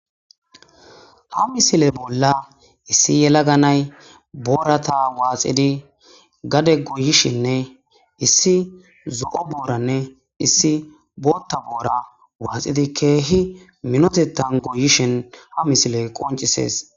​Ha misiliya bolla issi yelaga na'ee boorata waaxidi gade goyishinne, issi zo'o booranne issi bootha boora waaxidi, keehi minotethan goyishshiyn ha misiley qonccisees.